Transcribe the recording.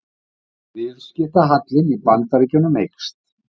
Viðskiptahallinn í Bandaríkjunum eykst